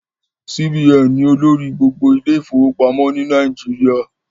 CBN ni olórí gbogbo ilé ìfọwọ́pamọ́ ni Nàìjíríà